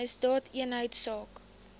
misdaadeenheidsaak